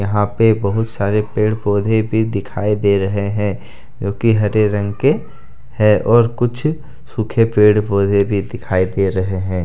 यहां पे बहुत सारे पेड़ पौधे भी दिखाई दे रहे हैं जोकि हरे रंग के है और कुछ सूखे पेड़ पौधे भी दिखाई दे रहे हैं।